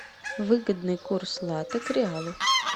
выгодный курс лата к реалу